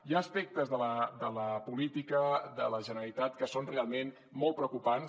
hi ha aspectes de la política de la generalitat que són realment molt preocupants